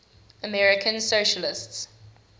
american socialists